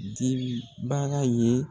Dim baga ye